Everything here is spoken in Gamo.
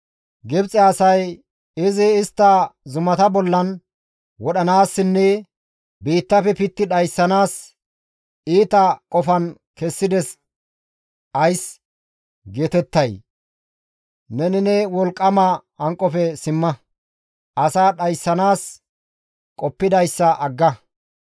Gibxe asay, ‹Izi istta zumata bollan wodhanaassinne biittafe pitti dhayssanaas iita qofan kessides› ays geetettay? Neni ne wolqqama hanqofe simma; asaa dhayssanaas qoppidayssa agga.